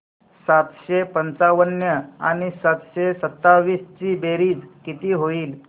सातशे पंचावन्न आणि सातशे सत्तावीस ची बेरीज किती होईल